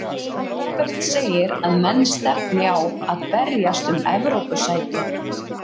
Róbert segir að menn stefni á að berjast um Evrópusæti.